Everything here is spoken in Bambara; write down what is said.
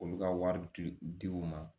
Olu ka wari ti u ma